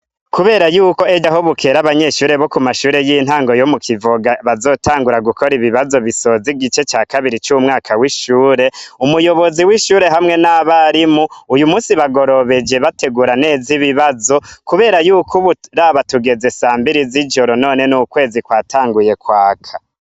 Kubera yuko ejo aho bukera abanyeshure bo ku mashure y'intango yo mu Kivoga bazotangura gukora ibibazo bisoza igica ca kabiri c'umwaka w'ishure, umuyobozi w'ishure hamwe n'abarimu, uyu munsi bagorobeje bategura neza ibibazo, kubera yuko ubu raba tugeze sambiri z'ijoro none n'ukwezi kwatanguye kwaka.